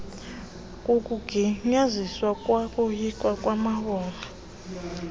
kukugunyaziswa kwanokuyilwa kwamawonga